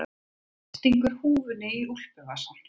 Stingur húfunni í úlpuvasann.